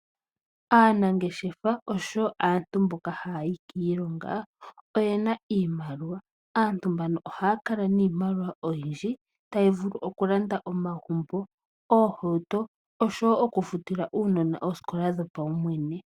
Aanangeshefa osho wo aantu mboka haa yi kiilonga oye na iimaliwa. Aantu mbano ohaya kala niimaliwa oyindji tayi vulu okulanda omagumbo, oohauto osho wo okufutila uunona oosikola dhopaumwene.